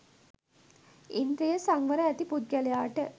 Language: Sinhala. ඉන්ද්‍රිය සංවරය ඇති පුද්ගලයාට